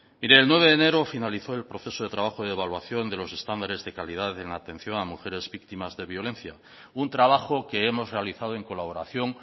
mire el nueve de enero finalizó el proceso de trabajo de evaluación de los estándares de calidad en la atención a mujeres víctimas de violencia un trabajo que hemos realizado en colaboración